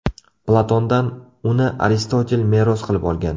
Platondan uni Aristotel meros qilib olgan.